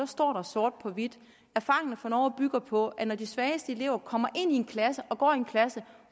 står der sort på hvidt erfaringerne fra norge bygger på at når de svageste elever kommer ind i en klasse og går i en klasse